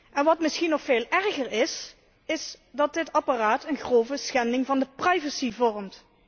En wat misschien nog veel erger is, is dat dit apparaat een grove schending van de privacy vormt.